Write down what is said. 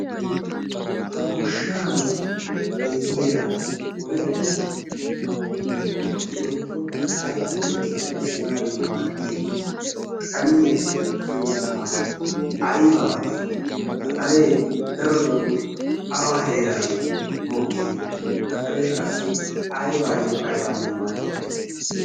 ha goshshan de7iya wolaitta woikko haitta tukkiyaa essanaayyo maaddiya xaliya sunttaa aibaa giyo ha xalee daroxoo awa heeran mokkii? ha xalee qassi aibaayyo aibaayyo maaddi?